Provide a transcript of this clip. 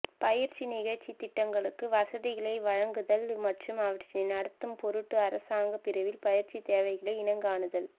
பயிற்சி நிகழ்ச்சித் திட்டங்களுக்கு வசதிகளை வழங்குதல் மற்றும் அவற்றினை நடாத்தும் பொருட்டு அரசாங்க பிரிவில் பயிற்சித் தேவைகளை இனங்காணுதல்